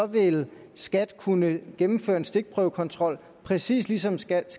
vil skat kunne gennemføre en stikprøvekontrol præcis ligesom skat